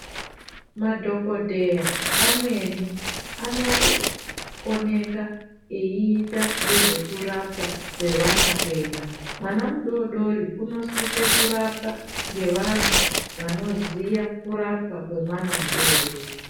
Madhokodheya amweni anooneka eita ngezvekurapwa kwevana kwega. Mwana mudodori unosisa kurapwa ngevantu vanoziya kurapwa kwemwana mudodori.